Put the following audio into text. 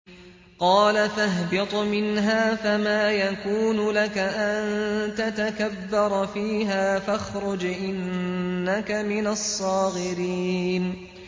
قَالَ فَاهْبِطْ مِنْهَا فَمَا يَكُونُ لَكَ أَن تَتَكَبَّرَ فِيهَا فَاخْرُجْ إِنَّكَ مِنَ الصَّاغِرِينَ